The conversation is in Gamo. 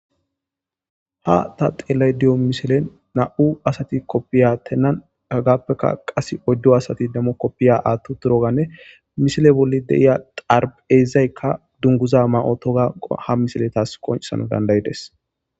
Ha ta xeelay diyo mishile na,u asati koppiya tennan hagappeka qas oyddo asati dammo koppiya aattu turoganne mishile bolli deiya xarb,ezaykka dunguza ma,otogaha misile taas qoncesano dandayides.